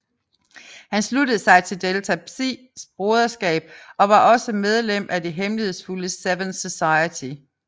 Han sluttede sig til Delta Psi broderskabet og var også medlem af det hemmelighedsfulde Seven Society